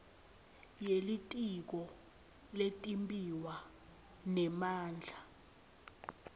yelitiko letimbiwa nemandla